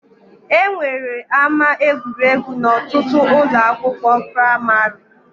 E nwere ama egwuregwu n'ọtụtụ ụlọ akwụkwọ praimarị